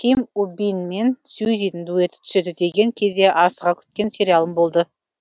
ким у бин мен сюзидің дуэті түседі деген кезде асыға күткен сериалым болды